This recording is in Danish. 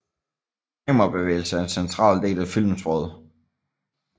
Kamerabevægelse er en central del af filmsproget